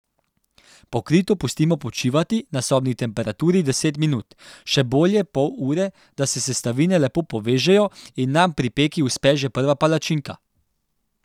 Pokrito pustimo počivati na sobni temperaturi deset minut, še bolje pol ure, da se sestavine lepo povežejo in nam pri peki uspe že prva palačinka.